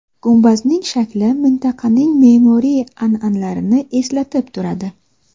Gumbazning shakli mintaqaning me’moriy an’analarini eslatib turadi.